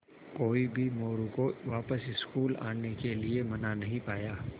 कोई भी मोरू को वापस स्कूल आने के लिये मना नहीं पाया